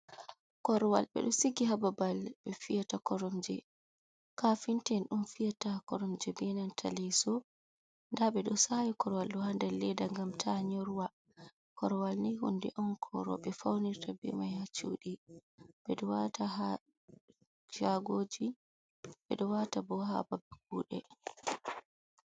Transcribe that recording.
Korwal ɓe ɗo sigi haa babal be fiyata koromje, kafinta en on fiyata koromje be nanta leeso, nda ɓe ɗo saawi korwal ɗo haa nder leeda ngam ta nyorwa, korwal ni hunde on ko rooɓe faunirta bemai haa shuɗi, ɓe ɗo waata haa shaago ji, ɓe ɗo waata bo haa babe kuuɗe.